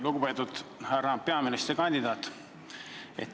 Lugupeetud härra peaministrikandidaat!